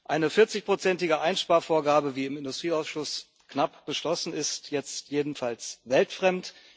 Eine vierzigprozentige Einsparvorgabe, wie im Industrieausschuss knapp beschlossen, ist jetzt jedenfalls weltfremd.